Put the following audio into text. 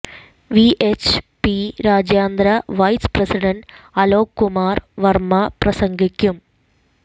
VHP രാജ്യാന്തര vice president Alok Kumar Varma പ്രസംഗിക്കും